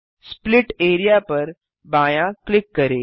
split area पर बायाँ click करें